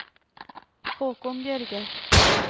Haakon Bjørge